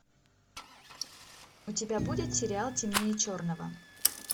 у тебя будет сериал темнее черного